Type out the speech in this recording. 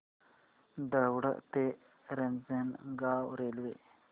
दौंड ते रांजणगाव रेल्वे